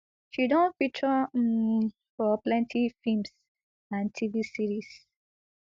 she don feature um for plenty films and tv series